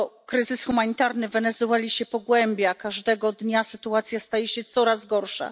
Kryzys humanitarny w Wenezueli się pogłębia, każdego dnia sytuacja staje się coraz gorsza.